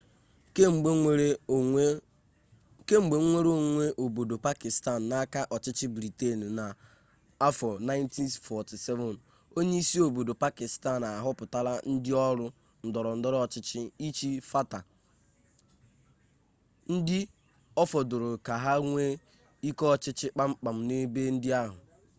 kemgbe nwere onwe obodo pakịstan n'aka ọchịchị briten na 1947 onye isi obodo pakịstan ahọpụtala ndị ọrụ ndọrọ ndọrọ ọchịchị ịchị fata ndị ọfọdụrụ ka ha nwee ike ọchịchị kpamkpam n'ebe ndị ahụ